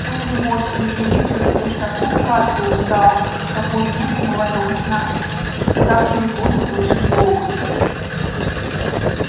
после водки и еды чувствуешь такую сладкую усталость такую негу молодого сна что так через воду слышишь говор